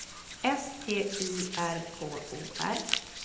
S T Y R K O R